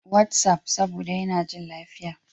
WhatsApp, saboda yana jin lafiya.